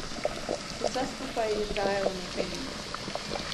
Vse skupaj je trajalo nekaj minut.